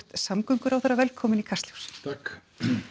samgönguráðherra velkominn í Kastljós takk